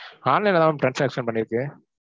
online ல தான் ma'am transaction பண்ணிருக்கு.